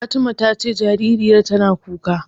Fatima ta ce jaririyar tana kuka.